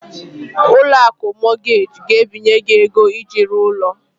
Ụlọ akụ Mọgaji ga-ebinye gị ego iji rụọ ụlọ.